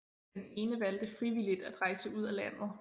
Den ene valgte frivilligt at rejse ud af landet